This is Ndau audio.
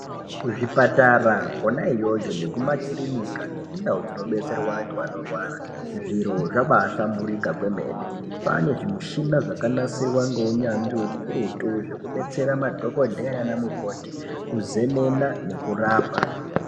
Kuzvipatara kona iyoyo nekumakirinika nekundau dzinobetserwa vantu vanorwara zviro , zvabahlamburika kwemene kwane , zvimushina zvakasirwa ngeunyanzvi ukurutu zvekubetsera madhokodheya nanamukoti kuzemena nekurapa.